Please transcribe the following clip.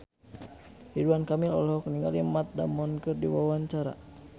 Ridwan Kamil olohok ningali Matt Damon keur diwawancara